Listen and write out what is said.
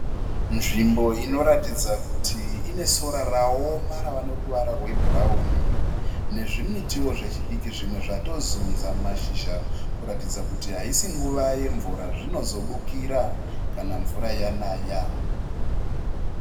Nzvimbo inoratidza kuti ine sora rawoma ravaneruvara rwebhurawuni. Nezvimitiwo zvechidiki zvimwe zvatozudzwa mashizha kuratidza kuti haisi nguva yemvura. Zvinobukira kana mvura yanaya.